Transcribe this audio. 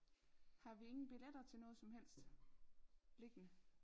Har vi ingen billetter til noget som helst liggende?